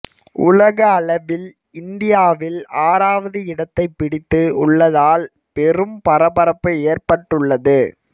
உலக அளவில் இந்தியாவில் ஆறாவது இடத்தை பிடித்து உள்ளதால் பெரும் பரபரப்பு ஏற்பட்டுள்ளது